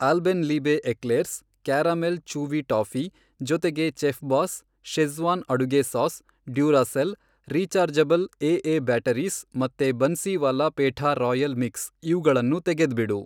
Alpenliebe eclairs, caramel chewy toffee, ಜೊತೆಗೆ Chefboss, Schezwan ಅಡುಗೆ sauce, Duracell, rechargeable AA batteries, ಮತ್ತೆ Bansiwala petha royal mix ಇವ್ಗಳನ್ನೂ ತೆಗೆದ್ಬಿಡು.